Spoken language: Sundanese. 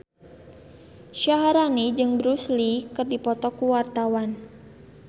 Syaharani jeung Bruce Lee keur dipoto ku wartawan